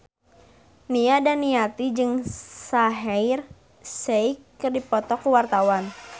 Nia Daniati jeung Shaheer Sheikh keur dipoto ku wartawan